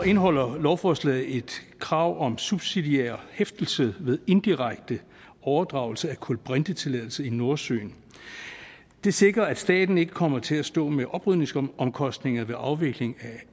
indeholder lovforslaget et krav om subsidiær hæftelse ved indirekte overdragelse af kulbrintetilladelse i nordsøen det sikrer at staten ikke kommer til at stå med oprydningsomkostninger ved afvikling